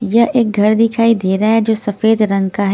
यह एक घर दिखाई दे रहां है जो सफेद रंग का है।